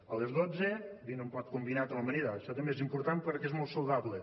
a les dotze dina un plat combinat amb amanida això també és important perquè és molt saludable